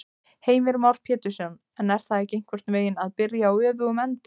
Heimir Már Pétursson: En er það ekki einhvern veginn að byrja á öfugum enda?